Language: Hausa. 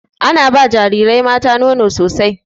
Ana ba jarirai mata nono sosai.